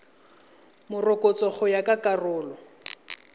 morokotso go ya ka karolo